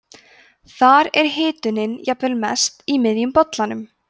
þar er hitunin jafnvel mest í miðjum bollanum